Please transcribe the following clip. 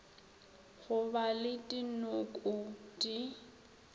go ba le dinoko di